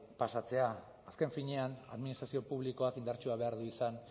pasatzea azken finean administrazio publikoak indartsuak behar du izan